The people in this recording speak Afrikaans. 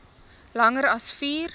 langer as vier